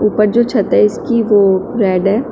जो छत है इसकी वो रेड है।